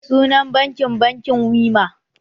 Sunan bankin "bankin Wema"